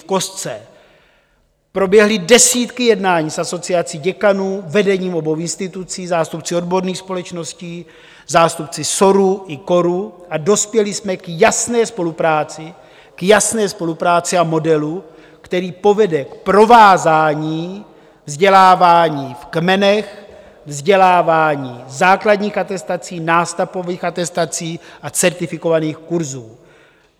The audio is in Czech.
V kostce: proběhly desítky jednání s Asociací děkanů, vedením obou institucí, zástupci odborných společností, zástupci SORu i KORu a dospěli jsme k jasné spolupráci, k jasné spolupráci a modelu, který povede k provázání vzdělávání v kmenech, vzdělávání základních atestací, nástavbových atestací a certifikovaných kurzů.